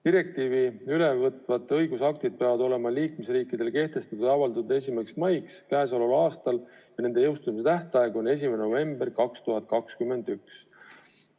Direktiivi üle võtvad õigusaktid peavad olema liikmesriikides kehtestatud või avaldatud 1. maiks k.a ja nende jõustumise tähtaeg on 1. november 2021.